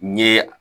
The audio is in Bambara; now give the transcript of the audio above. N ye